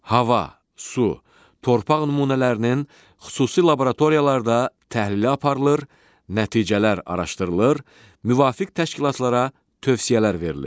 Hava, su, torpaq nümunələrinin xüsusi laboratoriyalarda təhlili aparılır, nəticələr araşdırılır, müvafiq təşkilatlara tövsiyələr verilir.